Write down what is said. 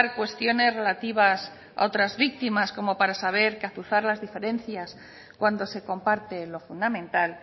cuestiones relativas a otras víctimas como para saber que azuzar las diferencias cuando se comparte lo fundamental